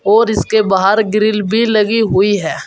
और इसके बाहर ग्रिल भी लगी हुई है।